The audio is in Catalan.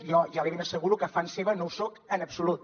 jo ja li ben asseguro que fan seva no ho soc en absolut